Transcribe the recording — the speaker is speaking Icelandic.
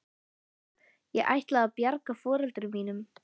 Ég ætlaði að bjarga foreldrum mínum.